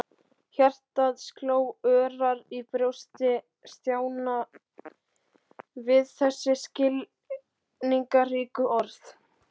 Hjartað sló örar í brjósti Stjána við þessi skilningsríku orð.